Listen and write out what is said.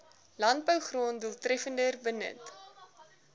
landbougrond doeltreffender benut